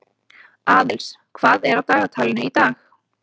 Aðils, hvað er á dagatalinu í dag?